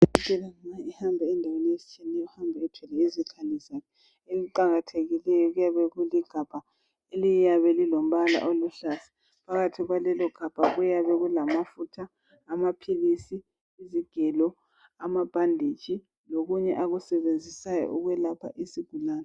Udokotela nxa ehamba endaweni ezitshiyetshiyeneyo uhamba elezikhali zakhe. Okuqakathekileyo kuyabe kuligabha liyabe lilombala oluhlaza, phakathi kwalelogabha kuyabe kulamafutha, amaphilisi, izigelo, ama bandage lokunye akusebenzisayo ukulapha izigulane.